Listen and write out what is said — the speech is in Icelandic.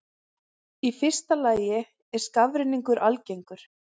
Í fyrsta lagi er skafrenningur algengur.